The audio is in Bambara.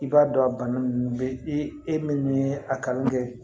I b'a dɔn a bana ninnu bɛ e min ye a kanu kɛ